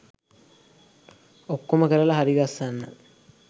ඔක්කොම කරලා හරිගස්සන්න.